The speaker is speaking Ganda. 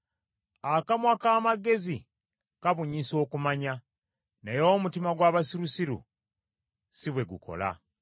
Akamwa k’amagezi kabunyisa okumanya, naye omutima gw’abasirusiru si bwe gukola.